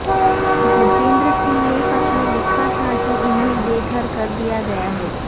گجیندر سنگھ نے خط میں لکھا تھا کہ انھیں بےگھر کر دیا گیا ہے